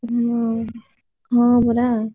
ହୁଁ, ହଁ ପରା।